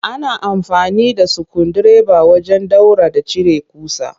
Ana amfani da sukundireba wajen ɗaura da cire ƙusa